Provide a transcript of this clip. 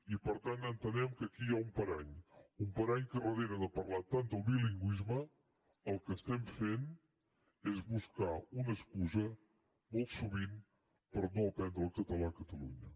i per tant entenem que aquí hi ha un parany un parany pel qual al darrere de parlar tant del bilingüisme el que estem fent és buscar una excusa molt sovint per no aprendre el català a catalunya